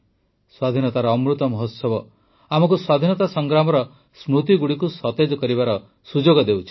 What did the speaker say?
ସ୍ୱାଧୀନତାର ଅମୃତ ମହୋତ୍ସବ ଆମକୁ ସ୍ୱାଧୀନତା ସଂଗ୍ରାମର ସ୍ମୃତିଗୁଡ଼ିକୁ ସତେଜ କରିବାର ସୁଯୋଗ ଦେଉଛି